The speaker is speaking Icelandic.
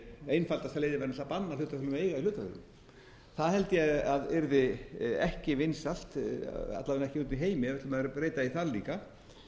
einfaldasta leiðin væri náttúrlega að banna hlutafélögum að eiga hlutafélög það held ég að yrði ekki vinsælt alla vega ekki úti i heimi ef við ætlum að